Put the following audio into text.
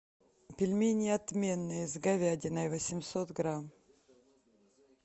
пельмени отменные с говядиной восемьсот грамм